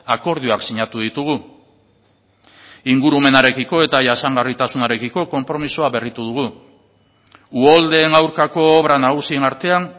akordioak sinatu ditugu ingurumenarekiko eta jasangarritasunarekiko konpromisoa berritu dugu uholdeen aurkako obra nagusien artean